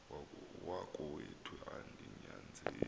wakowethu andi nyanzeli